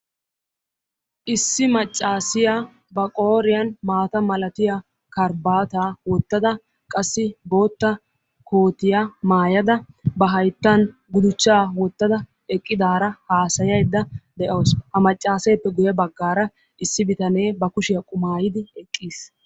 Issi maccaasiya ba qooriyan maata malatiya karbbaataa wottada qassi bootta kootiya maayada ba hayttan guduchchaa wottada eqqidaara haasayiiddi de'awus. Ha maccaaseeppe guyye baggaara issi bitanee ba kushiya qumaayyidi eqqis.